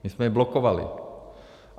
My jsme ji blokovali.